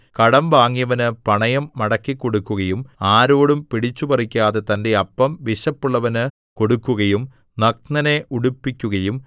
കടം വാങ്ങിയവനു പണയം മടക്കിക്കൊടുക്കുകയും ആരോടും പിടിച്ചുപറിക്കാതെ തന്റെ അപ്പം വിശപ്പുള്ളവനു കൊടുക്കുകയും നഗ്നനെ ഉടുപ്പിക്കുകയും